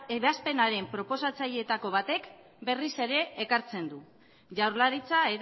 ebazpenaren proposatzaileetako batek berriz ere ekartzen du jaurlaritza